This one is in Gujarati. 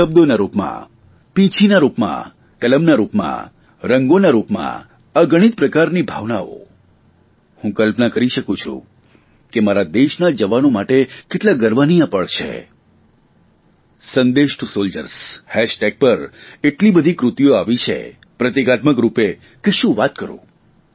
શબ્દોના રૂપમાં પીંછીના રૂપમાં કલમના રૂપમાં રંગોના રૂપમાં અગણિત પ્રકારની ભાવનાઓ હું કલ્પના કરી શકું છું કે મારા દેશના જવાનો માટે કેટલા ગર્વની આ પળ છે સંદેશ ટુ સોલ્જર્સ હેશટેગ પર એટલી બધી કૃતિઓ આવી છે પ્રતિકાત્મક રૂપે કે શું વાત કરૂં